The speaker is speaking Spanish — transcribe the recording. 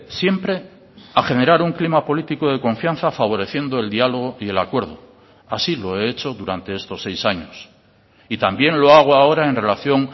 siempre a generar un clima político de confianza favoreciendo el diálogo y el acuerdo así lo he hecho durante estos seis años y también lo hago ahora en relación